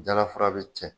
Jalafura be cɛ